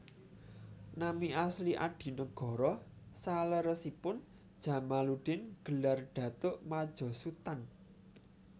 Nami asli Adinegoro saleresipun Djamaluddin gelar Datuk Madjo Sutan